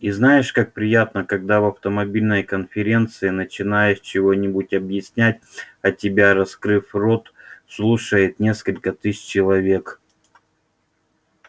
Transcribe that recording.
и знаешь как приятно когда в автомобильной конференции начинаешь чего-нибудь объяснять а тебя раскрыв рот слушает несколько тысяч человек